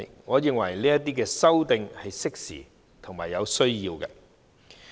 我認為，這些修訂是適時和有需要的。